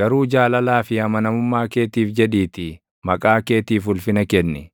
garuu jaalalaa fi amanamummaa keetiif jedhiitii maqaa keetiif ulfina kenni.